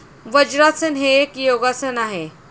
वज्रासन हे एक योगासन आहे.